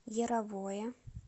яровое